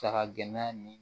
Saga gɛnna nin